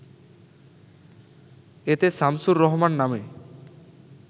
এতে শামছুর রহমান নামে